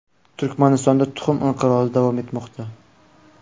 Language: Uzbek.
Turkmanistonda tuxum inqirozi davom etmoqda.